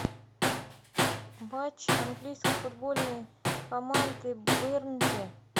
матч английской футбольной команды бернли